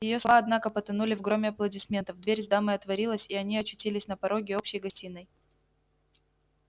её слова однако потонули в громе аплодисментов дверь с дамой отворилась и они очутились на пороге общей гостиной